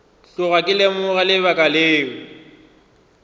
tloga ke lemoga lebaka leo